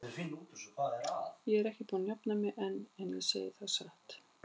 Ég er ekki búin að jafna mig enn, ég segi það satt.